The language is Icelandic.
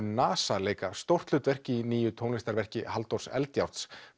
NASA leika stórt hlutverk í nýju tónlistarverki Halldórs Eldjárns